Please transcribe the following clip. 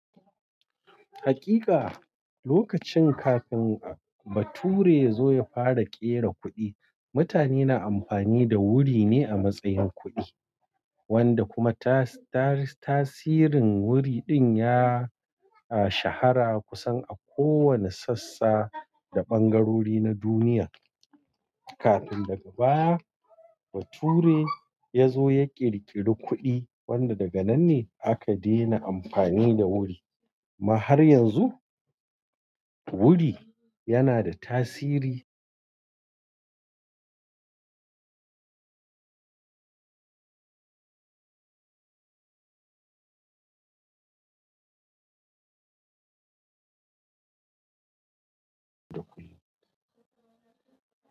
Hakika lokacin kafin bature ya zo ya fara ƙera kuɗi, mutane na amfani da wuri ne a matsayin kuɗi wanda kuma tasirin wuri din ya shahara kusan a kowane sassa da ɓangarori na duniya. Kafin daga baya bature ya zo ya ƙirƙiri kuɗi wanda daga nan ne aka dena amfani da wuri. Amma har yanzu wuri yana da tasiri.